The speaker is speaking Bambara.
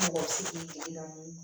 Mɔgɔ si kundalen don